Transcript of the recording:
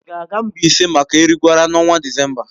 Ị ga-aga Mbaise maka Erigwara n'ọnwa Disemba?